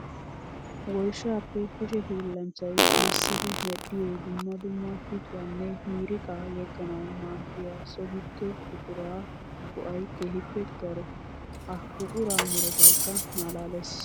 Woyshshappe kushe hiillanchchay massiddi medhdhiyo dumma dumma pittuwanne miiriqa yeganawu maaddiya so gido buqura go'ay keehippe daro. Ha buqura meretaykka malaales.